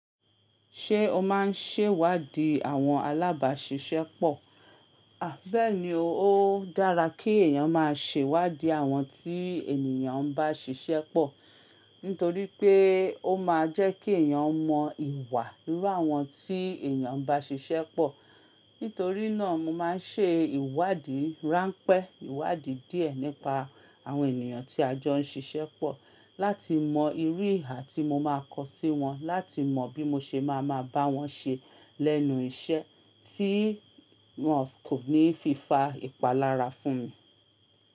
Ṣé o máa ń ṣèwádìí àwọn alábàáṣiṣẹ́ pọ̀? Àbẹ́ẹ̀ni, ó dára kí èèyàn máa ṣèwádìí àwọn tí ènìyàn bá ṣiṣẹ́ pọ̀. Nítorí pé ó máa jẹ́ kí èèyàn mọ ìwà irú àwọn tí èèyàn bá ṣiṣẹ́ pọ̀. Nítorí náà mo máa ń ṣe ìwádìí ráńpẹ́, ìwádìí díẹ̀ nípa àwọn ènìyàn tí a jọ ń ṣiṣẹ́ pọ̀, láti mọ irú ìhà tí mo máa kọ sí wọn, láti mọ bí mo ṣe máa ma bá wọn ṣe lẹ́nu iṣẹ́ tí wọn kò ní fi fa ìpalára fún mi.